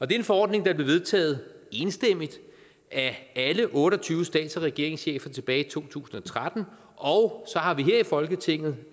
det er en forordning der blev vedtaget enstemmigt af alle otte og tyve stats og regeringschefer tilbage i to tusind og tretten og så har vi her i folketinget